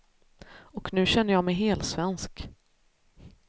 Och nu känner jag mig helsvensk.